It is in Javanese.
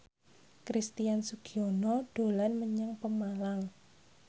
Christian Sugiono dolan menyang Pemalang